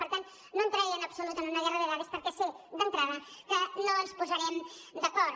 per tant no entraré en absolut en una guerra de dades perquè sé d’entrada que no ens posarem d’acord